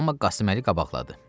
Amma Qasıməli qabaqladı.